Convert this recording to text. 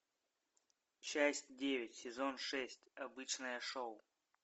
часть девять сезон шесть обычное шоу